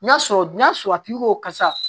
N'a sɔrɔ n'a sɔrɔ a tigi ko karisa